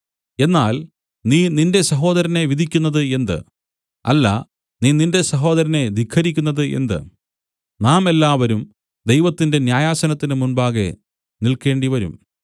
എന്നാൽ നീ നിന്റെ സഹോദരനെ വിധിക്കുന്നതു എന്ത് അല്ല നീ നിന്റെ സഹോദരനെ ധിക്കരിക്കുന്നത് എന്ത് നാം എല്ലാവരും ദൈവത്തിന്റെ ന്യായാസനത്തിന് മുമ്പാകെ നിൽക്കേണ്ടിവരും